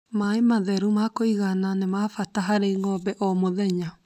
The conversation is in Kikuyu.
Maĩ matheru ma kũigananĩ mabata harĩ ng'ombe o mũthenya